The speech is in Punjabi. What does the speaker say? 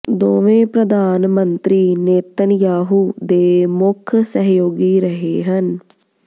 ਦੋਵੇਂ ਪ੍ਰਧਾਨ ਮੰਤਰੀ ਨੇਤਨਯਾਹੂ ਦੇ ਮੁੱਖ ਸਹਿਯੋਗੀ ਰਹੇ ਹਨ